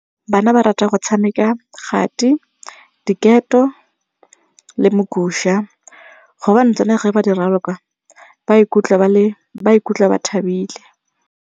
Bana ba rata go tshameka kgati, diketo le mogusha gobane tsone ga ba di raloka ba ikutlwa ba ikutlwa ba thabile.